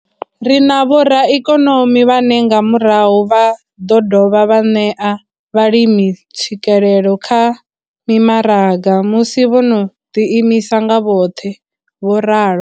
Ri na vhoraikonomi vhane nga murahu vha ḓo dovha vha ṋea vhalimi tswikelelo kha mimaraga musi vho no ḓiimisa nga vhoṱhe. vho ralo.